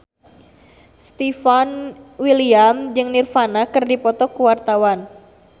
Stefan William jeung Nirvana keur dipoto ku wartawan